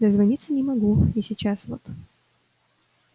дозвониться не могу и сейчас вот